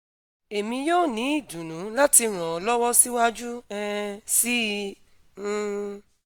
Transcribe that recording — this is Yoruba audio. emi yoo ni idunnu lati ran ọ lọwọ siwaju um sii um